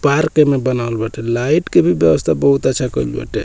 Park ए में बनावल बाटे लाइट के भी व्यवस्था बहुत अच्छा केल बाटे।